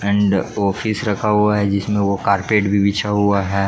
And office रखा हुआ है जिसमें वह कार्पेट भी बिछा हुआ है।